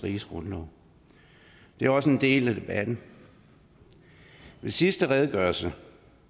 riges grundlov det er også en del af debatten ved sidste redegørelse